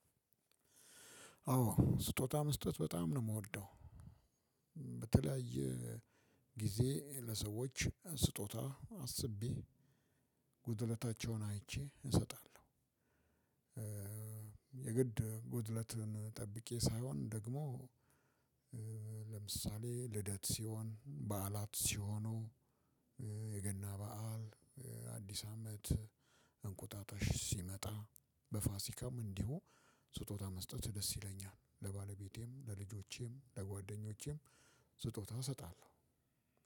አዎ ስጦታ መስጠት በጣም ነው የምወደው በተለያየ ጊዜ ለሰዎች ስጦታ አስቤ ጉድለታቸውን አይቼ እሰጣለሁ። የግድ ጉድለትን ጠብቄ ሳይሆን ደግሞ ለምሳሌ ልደት ሲሆን በዓላት ሲሆኑ የገና በዓል የአዲስ አመት እንቁጣጣሽ ሲመጣ በፋሲካም እንዲሁ ስጦታ መስጠት ደስ ይለኛል። ለባለቤቴም ለልጆቼም ለጓደኞቼም ስጦታ እሰጣለሁ።